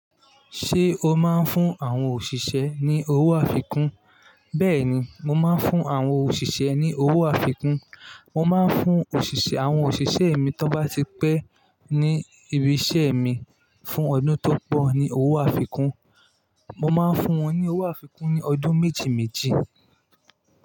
Ṣé o máa ń fún àwọn òṣìṣẹ́ ní owó àfikún? Bẹ́ẹ̀ni, mo máa ń fún àwọn òṣìṣẹ́ ní owó àfikún. Mo máa ń fún òṣìṣẹ́, àwọn òṣìṣẹ́ mi tó bá ti pẹ́ ní ibi isẹ́ mi fún ọdún tó pọ̀ ní owó àfikún. Mo máa ń fún wọn ní owó àfikún ní ọdún méjì méjì.